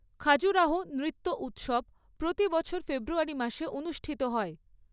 খাজুরাহো নৃত্য উৎসব প্রতি বছর ফেব্রুয়ারি মাসে অনুষ্ঠিত হয়।